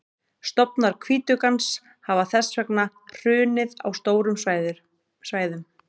stofnar hvítuggans hafa þess vegna hrunið á stórum svæðum